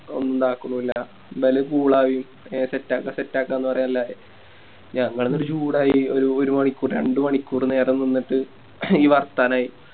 ഒന്നാക്കുന്നില്ല ആക്കുന്നില്ല ഇബല് Cool ആയി എല്ലാ Set ആക്ക Set ആക്ക പറയെല്ലായി ഞങ്ങളെന്നിട്ട് ചൂടായി ഒര് ഒരു മണിക്കൂർ രണ്ട് മണിക്കൂറ് നേരം നിന്നിട്ട് വാർത്താനായി